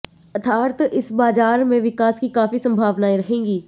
अर्थात इस बाजार में विकास की काफी संभावनाएं रहेंगी